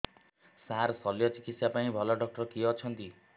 ସାର ଶଲ୍ୟଚିକିତ୍ସା ପାଇଁ ଭଲ ଡକ୍ଟର କିଏ ଅଛନ୍ତି